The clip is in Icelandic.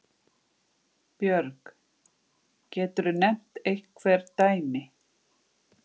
Björg: Geturðu nefnt einhver dæmi?